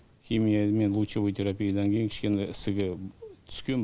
химия мен лучевой терапиядан кейін кішкене ісігі түскен